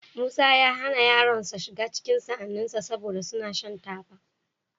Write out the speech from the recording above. Musa ya hana yaronsa shiga cikin sa'anninsa, saboda suna shan taba.